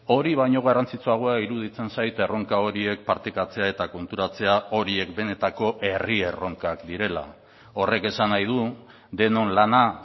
hori baino garrantzitsuagoa iruditzen zait erronka horiek partekatzea eta konturatzea horiek benetako herri erronkak direla horrek esan nahi du denon lana